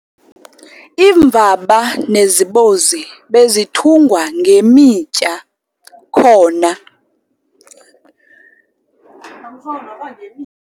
Iimvaba nezibozi bezithungwa ngemitya khona.